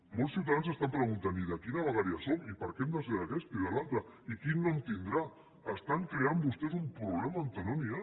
molts ciutadans s’estan preguntant i de quina vegueria som i per què hem de ser d’aquesta i de l’altra i quin nom tindrà estan creant vostès un problema on no n’hi ha